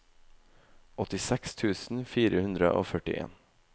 åttiseks tusen fire hundre og førtien